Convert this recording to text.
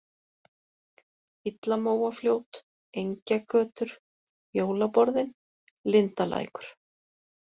Illamóafljót, Engjagötur, Jólaborðin, Lindalækur